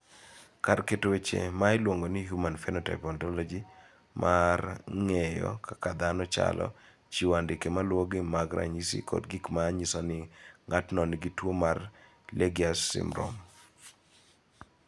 Kar keto weche ma iluongo ni Human Phenotype Ontology mar ng�eyo kaka dhano chalo, chiwo andike ma luwogi mag ranyisi kod gik ma nyiso ni ng�ato nigi tuo mar Legius syndrome.